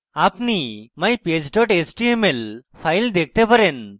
আপনি mypage html file দেখতে পারেন